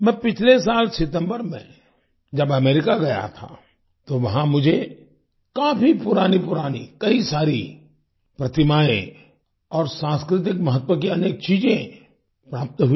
मैं पिछले साल सितम्बर में जब अमेरिका गया था तो वहां मुझे काफी पुरानीपुरानी कई सारी प्रतिमाएँ और सांस्कृतिक महत्व की अनेक चीजें प्राप्त हुई